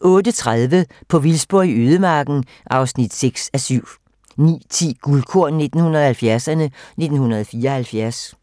08:30: På vildspor i ødemarken (6:7) 09:10: Guldkorn 1970'erne: 1974